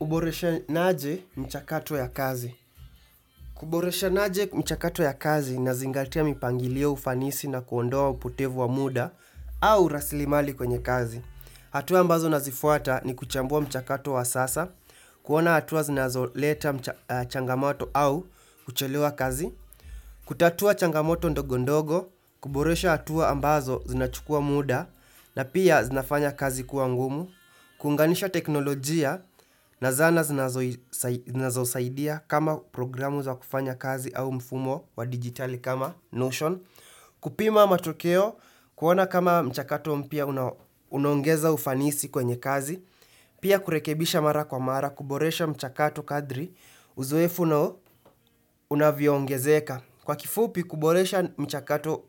Uboreshanaje mchakato wa kazi. Uboreshanaje mchakato ya kazi Inazingatia mipangilio ufanisi na kuondoa upotevu wa muda au rasili mali kwenye kazi. Hatua ambazo nazifuata ni kuchambua mchakato wa sasa, kuona hatua zinazoleta changamoto au kuchelewa kazi, kutatua changamoto ndogo ndogo, kuboresha hatua ambazo zinachukua muda na pia zinafanya kazi kuwa ngumu, kuunganisha teknolojia na zana zinazosaidia kama programu za kufanya kazi au mfumo wa digitali kama ''Notion'' kupima matokeo kuona kama mchakato mpya unaongeza ufanisi kwenye kazi Pia kurekebisha mara kwa mara kuboresha mchakato kadhri Uzoefu unavyoongezeka Kwa kifupi kuboresha mchakato